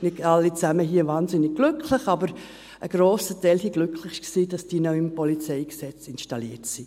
Nicht alle hier waren wahnsinnig glücklich, aber ein grosser Teil war glücklich, dass diese neu im PolG installiert sind.